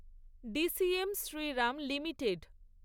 DCM Shriram limited